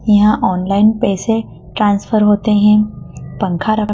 यहां ऑनलाइन पैसे ट्रांसफर होते है पंखा रखा--